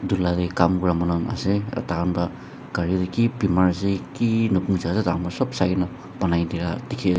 ulare kaam kora manu ase takhan pra gari ki bimaar ase ki noku zyada danggor sab solai kena dekhi na.